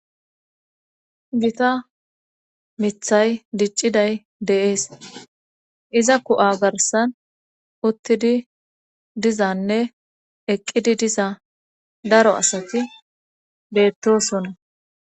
Gita mithay dicciday deees iza ku'a garsan uttidi dizanne eqqidi diza daro asati beettosonna.